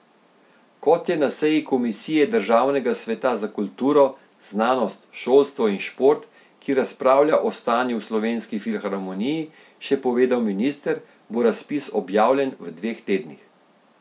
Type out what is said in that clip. Kot je na seji komisije državnega sveta za kulturo, znanost, šolstvo in šport, ki razpravlja o stanju v Slovenski filharmoniji, še povedal minister, bo razpis objavljen v dveh tednih.